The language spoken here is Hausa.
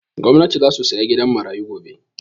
Gwanati zasu saya gidan marayu gobe